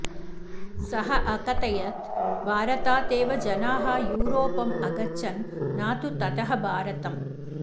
सः अकथयत् भारतात् एव जनाः यूरोपम् अगच्छन् न तु ततः भारतम्